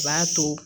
A b'a to